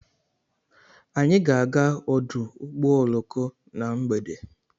Anyị ga-aga ọdụ ụgbọ oloko na mgbede